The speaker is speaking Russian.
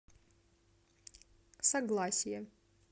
согласие